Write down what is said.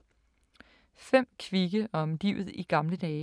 5 kvikke om livet i gamle dage